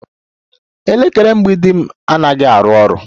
Elekere mgbidi m anaghị arụ ọrụ